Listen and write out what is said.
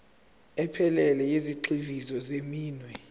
ephelele yezigxivizo zeminwe